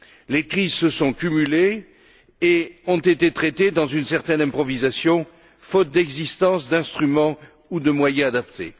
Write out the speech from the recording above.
Les crises se sont cumulées et ont été traitées dans une certaine improvisation, faute d'instruments ou de moyens adaptés.